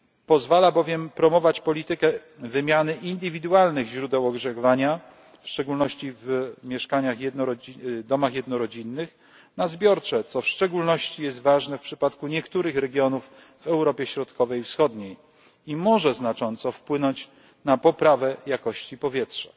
Pozwala bowiem promować politykę wymiany indywidualnych źródeł ogrzewania, w szczególności w domach jednorodzinnych na zbiorcze, co w szczególności jest ważne w przypadku niektórych regionów w Europie Środkowej i Wschodniej i może znacząco wpłynąć na poprawę jakości powietrza.